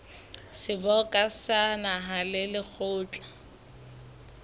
seboka sa naha le lekgotla